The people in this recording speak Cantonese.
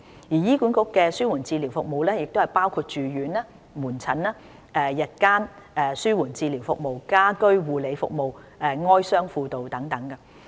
醫管局的紓緩治療服務包括住院、門診、日間紓緩治療服務、家居護理服務、哀傷輔導等。